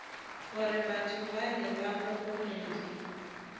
gore batho bale ba gorogile